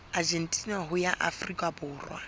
argentina ho ya afrika borwa